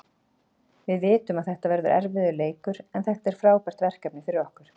Við vitum að þetta verður erfiður leikur, en þetta er frábært verkefni fyrir okkur.